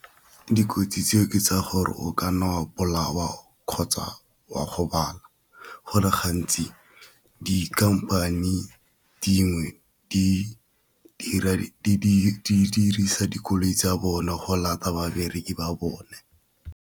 Dikotsi tseo ke tsa gore o ka nna wa bolawa kgotsa wa gobala, go le ga ntsi dikhamphane dingwe di dirisa dikoloi tsa bone go babereki ba bone.